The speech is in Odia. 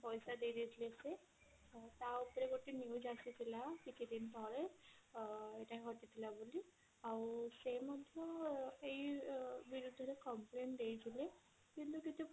ପଇସା ଦେଇ ଦେଇଥିଲେ ସେ ତା ଉପରେ ଗୋଟେ news ଆସିଥିଲା କିଛି ଦିନ ତଳେ ଅ କଟିଥିଲା ବୋଲି ଆଉ ସେ ମଧ୍ୟ ସେ ବିରୁଦ୍ଧ ରେ complain ଦେଇଥିଲେ କିନ୍ତୁ କିଛି